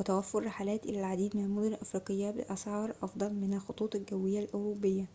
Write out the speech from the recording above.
وتوفر رحلات إلى العديد من المدن الإفريقية بأسعار أفضل من الخطوط الجوية الأوروبية